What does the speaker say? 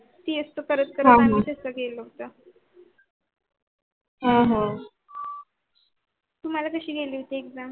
cs च करत करत आणि होत्य आह आह तुम्हाला कशी गेली होती exam